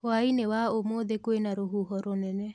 Hwainĩ wa ũmũthĩ kwĩna rũhuho rũnene.